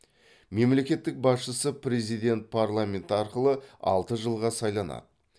мемлекеттік басшысы президент парламент арқылы алты жылға сайланады